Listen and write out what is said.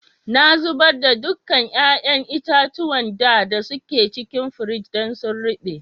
Na zubar da dukan yayan itatuwan da da suke cikin firiji dan sun ruba.